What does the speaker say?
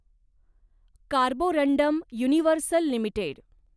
Carborundum Universal limited